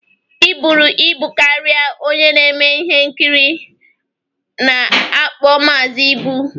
Ị buru ibu karịa onye na-eme ihe nkiri a na-akpo Maazi. Ibu.